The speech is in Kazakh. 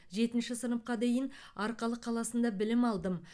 жетінші сыныпқа дейін арқалық қаласында білім алдым